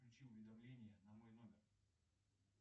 включи уведомления на мой номер